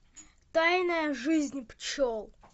тайная жизнь пчел